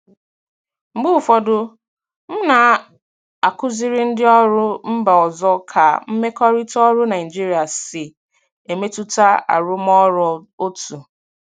Mgbe ụfọdụ, m na-akụziri ndị ọrụ mba ọzọ ka mmekọrịta ọrụ Naijiria si emetụta arụmọrụ otu.